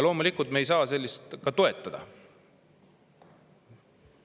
Loomulikult me ei saa seda toetada.